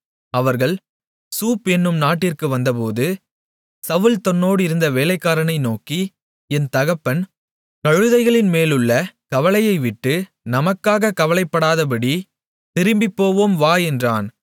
அவர்கள் சூப் என்னும் நாட்டிற்கு வந்தபோது சவுல் தன்னோடிருந்த வேலைக்காரனை நோக்கி என் தகப்பன் கழுதைகளின் மேலுள்ள கவலையை விட்டு நமக்காகக் கவலைப்படாதபடித் திரும்பிப்போவோம் வா என்றான்